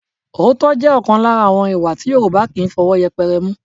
Òótọ́ jẹ́ ọ̀kan lára àwọn ìwà tí Yorùbá kì í fi ọwọ́ yẹpẹrẹ mú